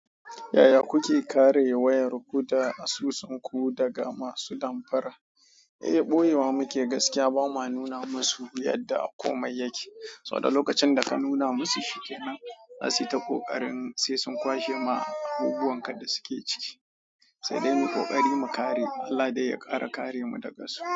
Yaya kuke kare wayarku da asusunku daga masu damfara? Eh, ɓoyewa muke gaskiya bama nuna masu yadda komai yake. Saboda lokacin da ka nuna musu shi kenan, za su yi ta ƙoƙarin sai sun kwashe ma abubbuwan ka da suke ciki. Sai dai mu ƙoƙari mu kare. Allah dai ya ƙara kare mu daga su.